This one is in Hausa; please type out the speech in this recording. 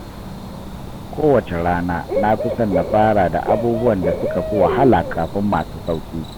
Kowace rana, na fi son na fara da abubuwan da suka fi wahala kafin masu sauƙi.